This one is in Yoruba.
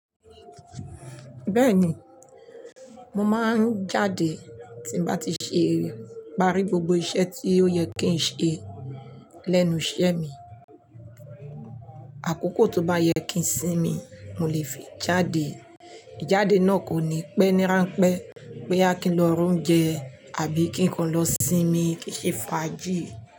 Bẹ́ẹ̀ni, mo máa ń jáde tí nbá ti ṣe, pari gbogbo iṣẹ́ tí ó yẹ kí n ṣe lẹ́nu iṣẹ́ mi. Àkókò tó bá yẹ kí n sinmi, mo lè fi jáde. Ìjáde náà kò ní pẹ́ ní ránpẹ́ pé boya ki n lọ ra ounjẹ àbí kí n kan lọ sinmi kì n ṣe fàájì.